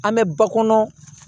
An bɛ ba kɔnɔ